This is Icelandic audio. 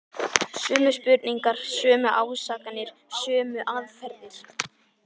Sömu spurningar, sömu ásakanir, sömu aðferðir.